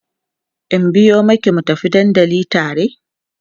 in biyo maki mu tafi dandali tare?